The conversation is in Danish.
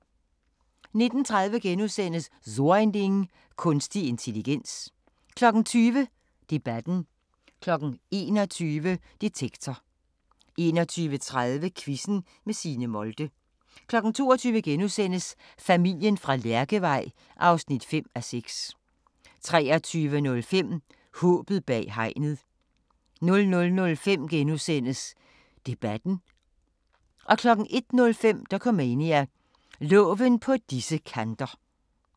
19:30: So ein Ding: Kunstig intelligens * 20:00: Debatten 21:00: Detektor 21:30: Quizzen med Signe Molde 22:00: Familien fra Lærkevej (5:6)* 23:05: Håbet bag hegnet 00:05: Debatten * 01:05: Dokumania: Loven på disse kanter